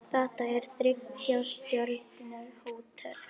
Þetta er þriggja stjörnu hótel.